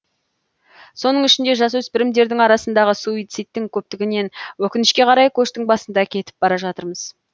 соның ішінде жасөспірімдердің арасындағы суицидтің көптігінен өкінішке қарай көштің басында кетіп бара жатырмыз